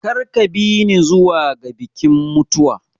Kar ka bi ni zuwa ga bikin mutuwa.